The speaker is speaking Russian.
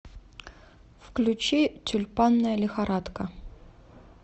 включи тюльпанная лихорадка